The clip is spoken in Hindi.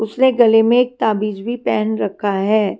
उसने गले में एक ताबीज भी पहन रखा हैं।